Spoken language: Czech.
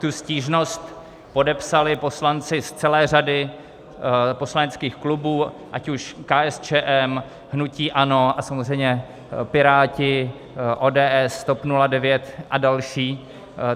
Tu stížnost podepsali poslanci z celé řady poslaneckých klubů, ať už KSČM, hnutí ANO a samozřejmě Piráti, ODS, TOP 09 a další.